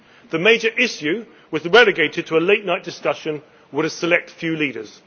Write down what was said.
The major issue was relegated to a late night discussion with a select few leaders.